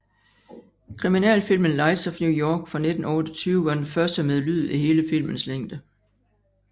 Kriminalfilmen Lights of New York fra 1928 var den første med lyd i hele filmens længde